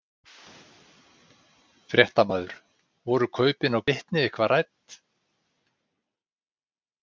Fréttamaður: Voru kaupin á Glitni eitthvað rædd?